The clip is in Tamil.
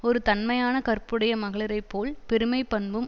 ஒரு தன்மையான கற்புடைய மகளிரைப்போல் பெருமை பண்பும்